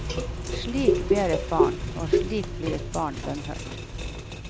Slik ber et barn, og slik blir et barn bønnhørt.